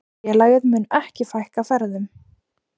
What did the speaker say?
Félagið muni ekki fækka ferðum.